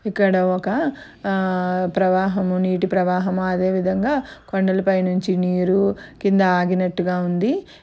ఇక్కడ ఒక ఆహ్ ప్రవాహం నీటి ప్రవాహం. అదే విధంగా కొండలపైనుంచి నీరు కింద ఆగినట్టుగా ఉంది.